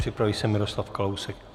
Připraví se Miroslav Kalousek.